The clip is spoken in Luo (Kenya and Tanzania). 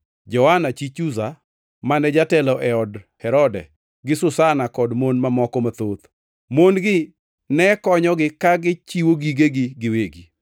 Joana chi Chuza, mane jatelo e od Herode gi Susana kod mon mamoko mathoth. Mon-gi nekonyogi ka gichiwonegi gigegi giwegi.